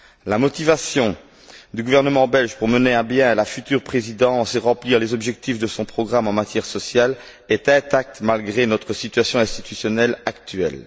La motivation du gouvernement belge pour mener à bien la future présidence et remplir les objectifs de son programme en matière sociale est intacte malgré notre situation institutionnelle actuelle.